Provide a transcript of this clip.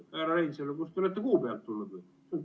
Härra Reinsalu, kas te olete kuu pealt tulnud või?